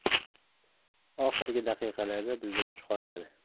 Oxirgi daqiqalarda bizda kuch qolmadi.